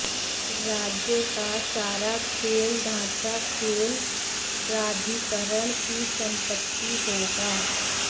राज्य का सारा खेल ढांचा खेल प्राधिकरण की संपत्ति होगा